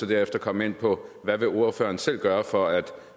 derefter komme ind på hvad ordføreren selv vil gøre for at